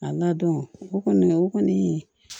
A ladɔn o kɔni o kɔni